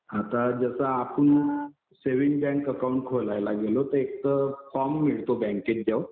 आता जसं आपण सेविंग बँक अकाउंट खोलायला गेलो तर एक फॉर्म मिळतो बँकेचा